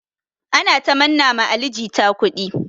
Ana ta manna ma Ali jita kudi.